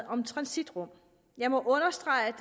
om transitrum jeg må understrege